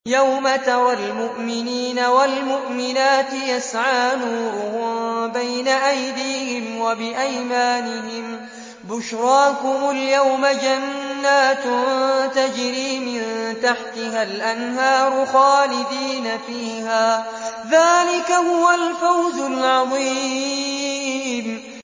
يَوْمَ تَرَى الْمُؤْمِنِينَ وَالْمُؤْمِنَاتِ يَسْعَىٰ نُورُهُم بَيْنَ أَيْدِيهِمْ وَبِأَيْمَانِهِم بُشْرَاكُمُ الْيَوْمَ جَنَّاتٌ تَجْرِي مِن تَحْتِهَا الْأَنْهَارُ خَالِدِينَ فِيهَا ۚ ذَٰلِكَ هُوَ الْفَوْزُ الْعَظِيمُ